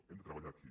hem de treballar aquí